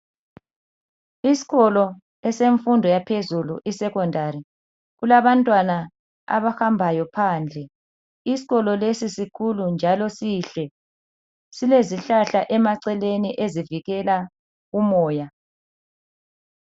Isikolo esemfundo yaphezulu isekhondari kulabantwana abahambayo phandle. Isikolo lesi sikhulu njalo sihle. Kulezihlahla emaceleni ezivikela umoya.